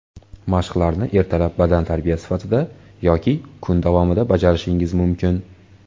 Mashqlarni ertalab badantarbiya sifatida yoki kun davomida bajarishingiz mumkin.